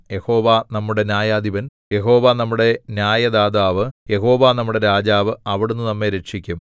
യഹോവ നമ്മുടെ ന്യായാധിപൻ യഹോവ നമ്മുടെ ന്യായദാതാവ് യഹോവ നമ്മുടെ രാജാവ് അവിടുന്ന് നമ്മെ രക്ഷിക്കും